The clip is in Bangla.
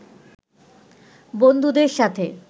বন্ধুদের সাথে